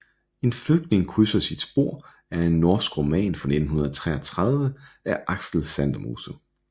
En flygtning krydser sit spor er en norsk roman fra 1933 af Aksel Sandemose